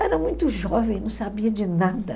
Era muito jovem, não sabia de nada.